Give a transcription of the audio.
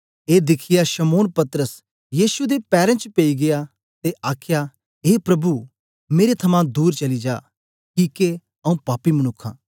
ए दिखियै शमौन पतरस यीशु दे पैरें च पेई गीया ते आखया ए प्रभु मेरे थमां दूर चली जा किके आऊँ पापी मनुक्ख आं